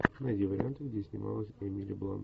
найди варианты где снималась эмили блант